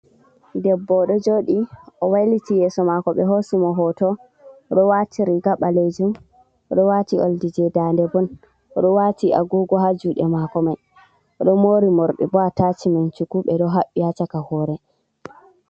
Ɗebbo ɗo jooɗii, o wailiti yeeso maako, ɓe hoosi mo hoto o ɗo waati riga ɓaleejum, o ɗo waati oldi je daande bo, o ɗo waati agugo Haa juɗe maako mai, o ɗo moori morɗi bo a tashi-men shuku, ɓe ɗo haɓɓi haa shaka hoore.